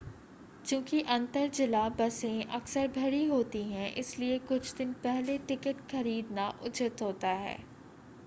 चूंकि अंतर जिला बसें अक्सर भरी होती हैं इसलिए कुछ दिन पहले टिकट खरीदना उचित होता है